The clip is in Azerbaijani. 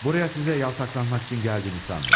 Buraya sizə yaltaklanmaq üçün gəldiyimi sanmayın.